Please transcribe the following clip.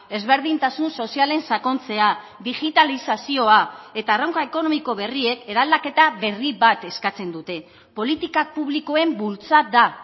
ezberdintasun sozialen sakontzea digitalizazioa eta erronka ekonomiko berriek eraldaketa berri bat eskatzen dute politika publikoen bultzada